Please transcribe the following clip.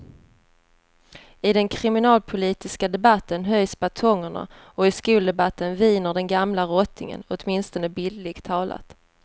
I den kriminalpolitiska debatten höjs batongerna och i skoldebatten viner den gamla rottingen, åtminstone bildligt talat.